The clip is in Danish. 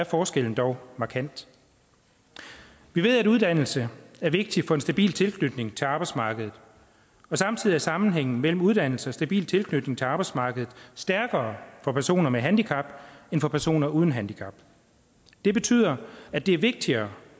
forskellen dog markant vi ved at uddannelse er vigtigt for en stabil tilknytning til arbejdsmarkedet og samtidig er sammenhængen mellem uddannelse og stabil tilknytning til arbejdsmarkedet stærkere for personer med handicap end for personer uden handicap det betyder at det er vigtigere